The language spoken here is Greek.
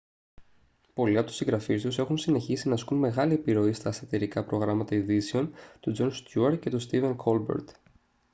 πολλοί από τους συγγραφείς τους έχουν συνεχίσει να ασκούν μεγάλη επιρροή στα σατιρικά προγράμματα ειδήσεων του τζον στιούαρτ και του στίβεν κόλμπερτ